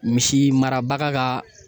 Misi marabaga ka